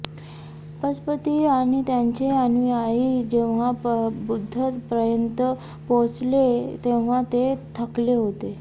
पजपती आणि त्यांचे अनुयायी जेव्हा बुद्धापर्यंत पोहोचले तेव्हा ते थकले होते